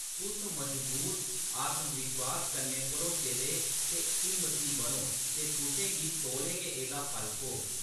तुस मजबूत, आत्मविश्वास कन्नै भरोचे दे ते हिम्मती बनो ते तुसें गी तौले गै एह्‌‌‌दा फल थ्होग।